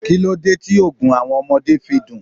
Kíló dé tí Ògùn àwọn ọmọdé fi dùn?